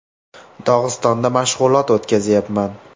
Dog‘istonda mashg‘ulot o‘tkazyapman.